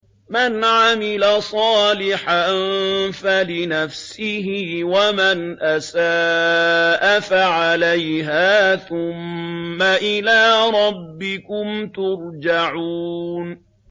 مَنْ عَمِلَ صَالِحًا فَلِنَفْسِهِ ۖ وَمَنْ أَسَاءَ فَعَلَيْهَا ۖ ثُمَّ إِلَىٰ رَبِّكُمْ تُرْجَعُونَ